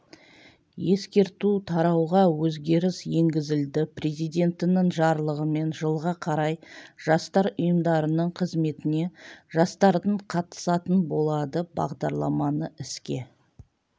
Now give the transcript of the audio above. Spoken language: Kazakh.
ескерту тарауға өзгеріс енгізілді президентінің жарлығымен жылға қарай жастар ұйымдарының қызметіне жастардың қатысатын болады бағдарламаны іске